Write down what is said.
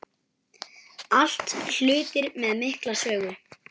Allt hlutir með mikla sögu.